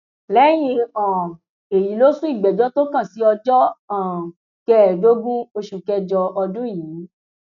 lẹyìn um èyí ló sún ìgbẹjọ tó kàn sí ọjọ um kẹẹẹdógún oṣù kẹjọ ọdún yìí